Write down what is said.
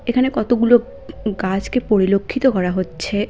এখানে কতগুলো গাছকে পরিলক্ষিত করা হচ্ছে।